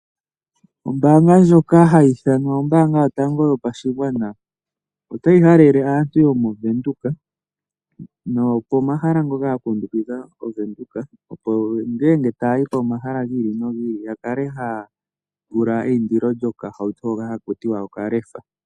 Ombaanga ndjoka hayi ithanwa Ombaanga yotango yopashigwana, otayi halele aantu yomovenduka, noyopomahala ngoka ga kundukidha ovenduka, opo ngele taya yi komahala gi ili nogi ili, yakale haya pula eindilo lyokahauto hono haki ithanwa okalefa.